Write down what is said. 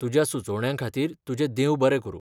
तुज्या सुचोवण्यांखातीर तुजें देव बरें करूं.